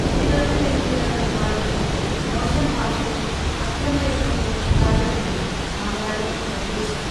കുട്ടികൾക്ക് വേണ്ടിയുള്ള പരിപാടികളിൾ മോശം ഭാഷയോ അക്രമ രംഗങ്ങളോ ഉണ്ടാകരുതെന്നും മന്ത്രാലയം നിർദ്ദേശിച്ചു.